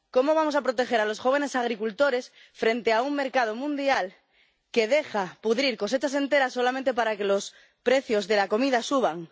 ¿Cómo vamos a proteger a los jóvenes agricultores frente a un mercado mundial que deja pudrir cosechas enteras solamente para que los precios de la comida suban?